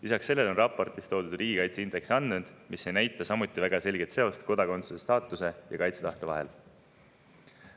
Lisaks sellele on raportis toodud riigikaitseindeksi andmed, mis ei näita samuti väga selget seost kodakondsusstaatuse ja kaitsetahte vahel.